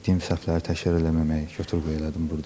Etdiyim səhvləri təkrar eləməməyi, götür-qoy elədim burda.